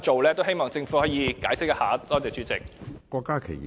我希望政府可以解釋一下，多謝主席。